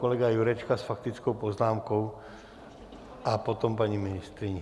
Kolega Jurečka s faktickou poznámkou a potom paní ministryně.